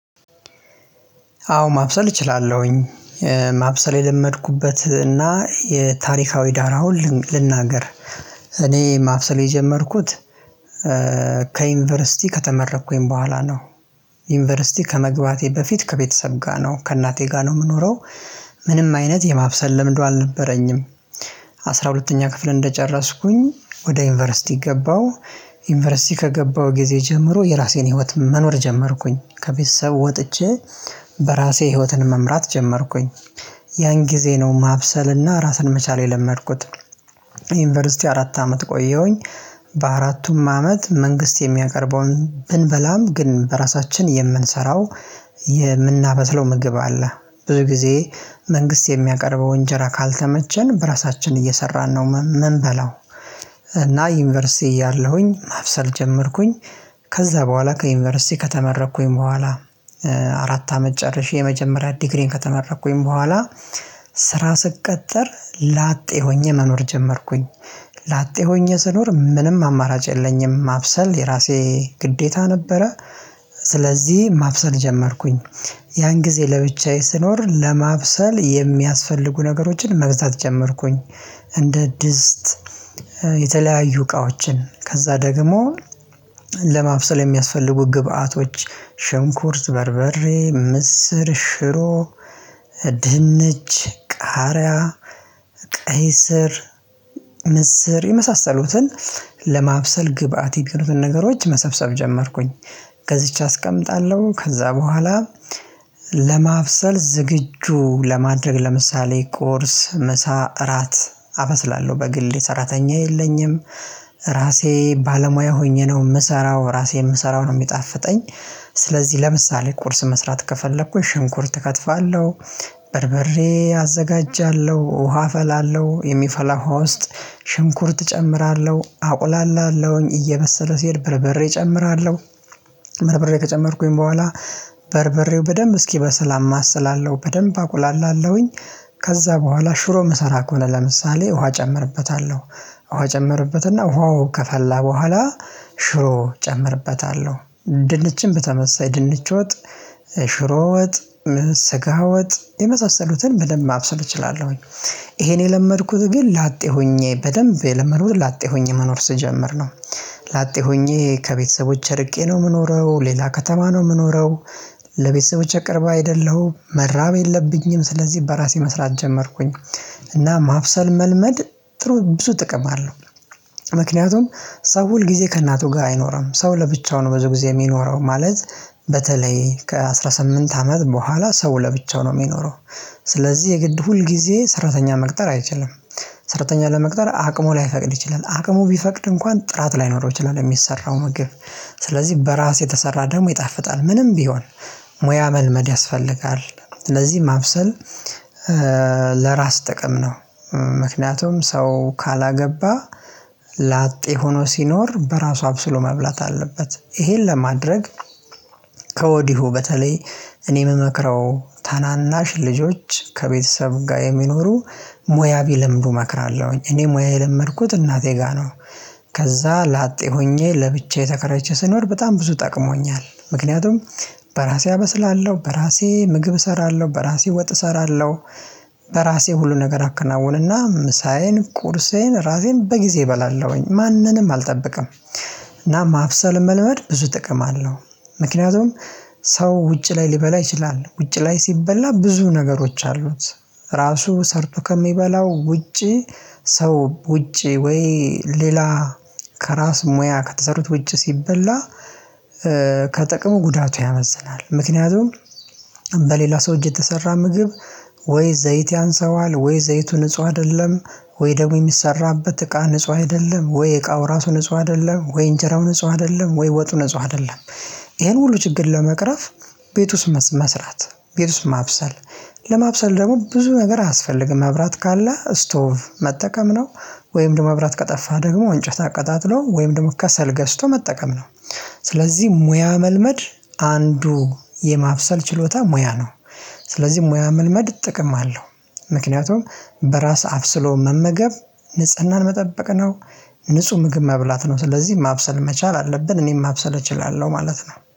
አዎ ማብሰል እችላለሁኝ ማብሰል የለመድኩበት እና የታሪካዊ ዳር አሁን ልንናገር እኔ ማብሰል የጀመርኩት ከዩኒቨርሲቲ ከተመረኩኝ በኋላ ነው። ዩኒቨርሲቲ ከመግባቴ በፊት ከቤተሰብ ጋ ነው ከእናቴ ጋር ነው ምኖረው። ምንም አይነት የማብሰል ልምዱ አልነበረኝም። አስራ ሁለተኛ ክፍል እንደጨረስኩኝ ወደ ዩኒቨርሲቲ ገባሁ። ዩኒቨርሲቲ ከገባሁ ጊዜ ጀምሮ የራሴን ህይወት መኖር ጀመርኩኝ ከቤተሰብ ወጥቼ። በራሴ ህይወትን መምራት ጀመርኩኝ። ያን ጊዜ ነው ማብሰልና ራስን መቻል የለመድኩት። ዩኒቨርሲቲ አራት አመት ቆየሁኝ። በአራቱም አመት መንግስት የሚያቀርበውን ብንበላም ግን በራሳችን የምንሰራው የምናበስለው ምግብ አለ። ብዙ ጊዜ መንግስት የሚያቀርበው እንጀራ ካልተመቸን በራሳችን እየሰራን ነው ምን በላው። እና ዩኒቨርሲቲ እያለሁኝ ማብሰል ጀመርኩኝ። ከዛ በኋላ ከዩኒቨርሲቲ ከተመረኩኝ በኋላ። አራት አመት ጨርሼ የመጀመሪያ ዲግሪዬን ከተመረኩኝ በኋላ። ስራ ስቀጠር ላጤ ሆኜ መኖር ጀመርኩኝ። ላጤ ሆኜ ስኖር ምንም አማራጭ የለኝም ማብሰል የራሴ ግዴታ ነበረ። ስለዚህ ማብሰል ጀመርኩኝ። ያን ጊዜ ለብቻዬ ስኖር ለማብሰል የሚያስፈልጉ ነገሮችን መግዛት ጀመርኩኝ። እንደ ድስት የተለያዩ እቃዎችን ከዛ ደግሞ ለማብሰል የሚያስፈልጉ ግብአቶች ሽንኩርት በርበሬ ምስር ሽሮ። ድህንች ቃርያ ቀይ ስር ምስር የመሳሰሉትን ለማብሰል ግብአት የሚሆኑትን ነገሮች መሰብሰብ ጀመርኩኝ። ከዚች አስቀምጣለሁ ከዛ በኋላ ለማብሰል ዝግጁ ለማድረግ ለምሳሌ ቁርስ ምሳ እራት አበስላለሁ በግል የሰራተኛ የለኝም። ራሴ ባለሙያ ሆኜ ነው ምሰራው ራሴ ምሰራው ነው የሚጣፍጠኝ። ስለዚህ ለምሳሌ ቁርስ መስራት ከፈለኩ ሽንኩርት እከትፋለሁ። በርበሬ አዘጋጃለሁ ውሃ ፈላለሁ የሚፈላ ውሃ ውስጥ ሽንኩርት እጨምራለሁ አቁላላለሁኝ እየበሰለ ሲሄድ በርቤሬ እጨምራለሁ። በርቤሬ ከጨመርኩኝ በኋላ በርበሬው በደንብ እስኪ በስል በደምብ አማስላለሁ በደንብ አቁላላ ለውኝ። ከዛ በኋላ ሽሮ መሰራ ኮለምሳሌ ውሃ እጨምርበታለሁ። ውሃ እጨምርበትና ውሃው ከፈላ በኋላ ሽሮ እጨምርበታለሁ ድንችን በተመሳሳይ ድንች ወጥ ሽሮ ወጥ ስጋ ወጥ የመሳሰሉትን በደንብ ማብሰል እችላለሁኝ። ይሄን የለመድኩት ግን ላጤ ሆኜ በደንብ ለመኖር ላጤ ሆኜ መኖር ስጀምር ነው። ላጤ ሆኜ ከቤተሰቦቼ እርቄ ነው የምኖረው ሌላ ከተማ ነው የምኖረው። ለቤተሰብ ቅርብ አይደለሁ መራብ የለብኝም ስለዚህ በራሴ መስራት ጀመርኩኝ። እና ማብሰል መልመድ ጥሩ ብዙ ጥቅም አለው። ምክንያቱም ሰው ሁል ጊዜ ከእናቱ ጋር አይኖርም ሰው ለብቻው ነው ብዙ ጊዜ የሚኖረው ማለት በተለይ ከአስራ ስምንት አመት በኋላ ሰው ለብቻው ነው የሚኖረው። ስለዚህ የግድ ሁል ጊዜ ሰራተኛ መቅጠር አይችልም። ሰራተኛ ለመቅጠር አቅሙ ላይፈቅድ ይችላል አቅሙ ቢፈቅድ እንኳን ጥራት ላይኖረው ይችላል ሚሰራው መግብ። ስለዚህ በራስ የተሰራ ደግሞ ይጣፍጣል ምንም ቢሆን ሙያ መልመድ ያስፈልጋል። ስለዚህ ማብሰል ለማብሰል ዝግጁ ለማድረግ ለምሳሌ ቁርስ ምሳ እራት አበስላለሁ በግሌ ሰራተኛ የለኝም ራሴ ባለሙያ ሆኜ ነው ምሰራው ራሴ ምሰራው ነው ሚጣፍጠኝ። ከወዲሁ በተለይ እኔ የምመክረው ታናናሽ ልጆች ከቤተሰብ ጋር የሚኖሩ ሙያ ቢለምዱ እመክራለሁኝ። እኔ ሙያ የለመድኩት እናቴ ጋር ነው። ከዛ ላጤ ሆኜ ለብቻዬ ተከራይቼ ስኖር በጣም ብዙ ጠቅሞኛል ምክንያቱም። በራሴ አበስላሎህ በራሴ ምግብ እሰራለሁ በራሴ ወጥ እሰራለሁ። በራሴ ሁሉ ነገር አከናውንና ምሳዬን ቁርሴን እራቴን በጊዜ እበላለሁኝ ማንንም አልጠብቅም። እና ማብሰል መለመድ ብዙ ጥቅም አለው። ምክንያቱም ሰው ውጪ ላይ ሊበላ ይችላል ውጭ ላይ ሲበላ ብዙ ነገሮች አሉት። ራሱ ሰርቶ ከሚበላው ውጪ ሰው ውጪ ወይ ሌላ ከራስ ሙያ ከተሰሩት ውጪ ሲበላ። ከጥቅሙ ጉዳቱ ያመዝናል ምክንያቱም በሌላ ሰው እጅ የተሰራ ምግብ። ወይ ዘይት ያንሰዋል ወይ ዘይቱን ንጹህ አደለም። ወይ ደግሞ የሚሰራበት እቃ ንጹህ አይደለም ወይ የእቃው ራሱ ንጹህ አይደለም ወይ እንጀራው ንጹህ አይደለም ወይ ወጡ ንጹህ አይደለም። ይሄን ሁሉ ችግር ለመቅረፍ ቤት ውስጥ መስራት ቤት ውስጥ ማብሰል። ለማብሰል ደግሞ ብዙ ነገር አያስፈልግም መብራት ካለ ስቶቭ መጠቀም ነው። ወይም ደግሞ መብራት ከጠፋ ደግሞ እንጨት አቀጣጥሎ ወይም ደግሞ ከሰል ገዝቶ መጠቀም ነው። ስለዚህ ሙያ መልመድ አንዱ የማብሰል ችሎታ ሙያ ነው። ስለዚህ ሙያ መልመድ ጥቅም አለው። ምክንያቱም በራስ አብስሎ መመገብ ንጽህናን መጠበቅ ነው። ንጹህ ምግብ መብላት ነው ስለዚህ ማብሰል መቻል አለብን እኔም ማብሰል እችላለሁ ማለት ነው